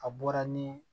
A bɔra ni